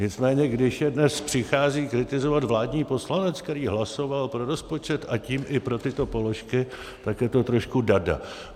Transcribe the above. Nicméně když je dnes přichází kritizovat vládní poslanec, který hlasoval pro rozpočet, a tím i pro tyto položky, tak je to trošku darda.